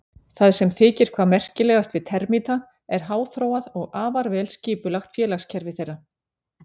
Það sem þykir hvað merkilegast við termíta er háþróað og afar vel skipulagt félagskerfi þeirra.